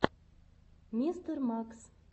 мистер макс